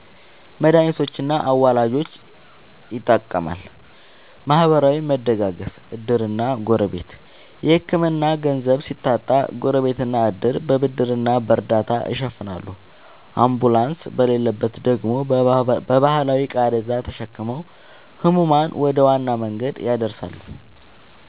መድኃኒቶችና አዋላጆች ይጠቀማል። ማህበራዊ መደጋገፍ (ዕድርና ጎረቤት)፦ የሕክምና ገንዘብ ሲታጣ ጎረቤትና ዕድር በብድርና በእርዳታ ይሸፍናሉ፤ አምቡላንስ በሌለበት ደግሞ በባህላዊ ቃሬዛ ተሸክመው ሕሙማንን ወደ ዋና መንገድ ያደርሳሉ።